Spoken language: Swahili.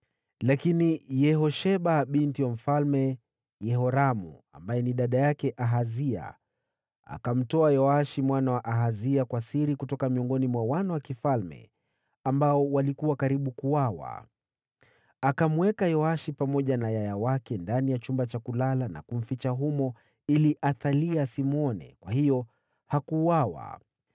Lakini Yehosheba, binti wa Mfalme Yehoramu, aliyekuwa pia dada yake Ahazia, akamtwaa Yoashi mwana wa Ahazia kwa siri kutoka miongoni mwa wana wa mfalme waliokuwa karibu kuuawa. Akamweka Yoashi pamoja na yaya wake ndani ya chumba cha kulala na kumficha humo ili Athalia asimwone; kwa hiyo hakuuawa.